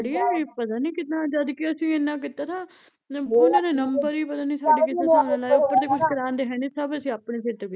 ਅੜੀਏ ਪਤਾ ਨੀ ਕਿੱਦਾਂ ਜਦਕਿ ਅਸੀਂ ਏਨਾਂ ਕੀਤਾ ਥਾ ਉਹਨਾਂ ਨੇ ਨੰਬਰ ਪਤਾ ਨੀ ਸਾਡੇ ਕਿਸ ਹਿਸਾਬ ਨਾਲ਼ ਲਾਏ, ਉੱਪਰ ਤੇ ਕੁਛ ਪੜਾਉਂਦੇ ਹੈਨੀ ਸਭ ਅਸੀਂ ਆਪਣੇ ਸਿਰ ਤੋਂ ਕੀਤਾ ਤਾ